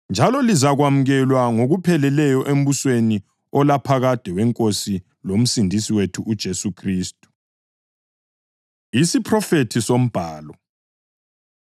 njalo lizakwamukelwa ngokupheleleyo embusweni olaphakade weNkosi loMsindisi wethu uJesu Khristu. Isiphrofethi SoMbhalo